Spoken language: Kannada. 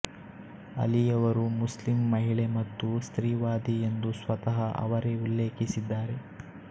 ಅಲಿ ಯವರು ಮುಸ್ಲಿಂ ಮಹಿಳೆ ಮತ್ತು ಸ್ತ್ರೀವಾದಿ ಎಂದು ಸ್ವತಃ ಅವರೆ ಉಲ್ಲೇಖಿಸಿದ್ದಾರೆ